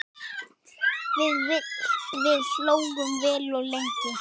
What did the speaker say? Við hlógum vel og lengi.